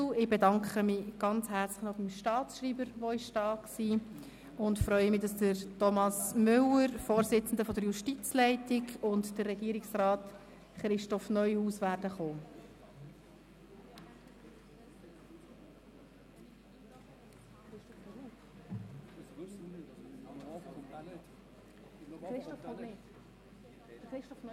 Ich bedanke mich beim Staatsschreiber für seine Anwesenheit und freue mich, dass Thomas Müller, der Vorsitzende der Justizleitung, sowie Regierungsrat Christoph Neuhaus eintreffen werden.